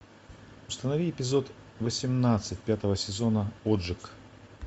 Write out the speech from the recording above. установи эпизод восемнадцать пятого сезона отжиг